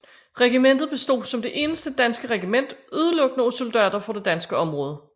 Regimentet bestod som det eneste danske regiment udelukkende af soldater fra det danske område